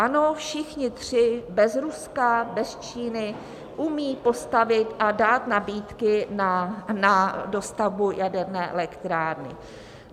Ano, všichni tři bez Ruska, bez Číny umějí postavit a dát nabídky na dostavbu jaderné elektrárny.